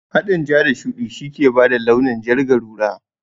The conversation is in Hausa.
Haɗin ja da shuɗi ke bada launin jar garura